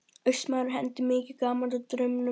Austmaðurinn hendi mikið gaman að draumum.